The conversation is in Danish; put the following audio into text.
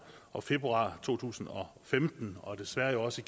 og februar to tusind og femten og desværre jo også